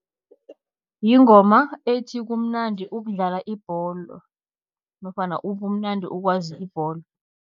Yingoma ethi kumnandi ukudlala ibholo nofana ubumnandi ukwazi ibholo.